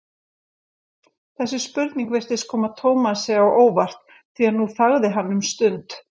Þessi spurning virtist koma Tómasi á óvart því nú þagði hann um stund.